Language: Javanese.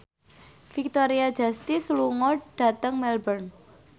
Victoria Justice lunga dhateng Melbourne